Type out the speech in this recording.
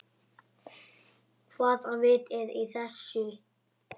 Hvaða vit er í þessu?